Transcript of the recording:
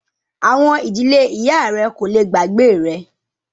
Àwọn “ ìdílé ìyá rẹ” kò le gbàgbé rẹ.